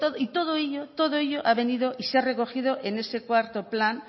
y todo ello todo ello ha venido y se ha recogido en ese cuarto plan